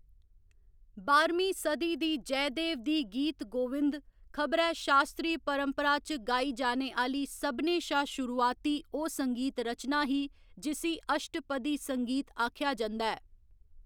बाह्‌रमीं सदी दी जयदेव दी गीत गोविंद खबरै शास्त्रीय परंपरा च गाई जाने आह्‌ली सभनें शा शुरुआती ओह्‌‌ संगीत रचना ही जिस्सी अश्टपदी संगीत आखेआ जंदा ऐ।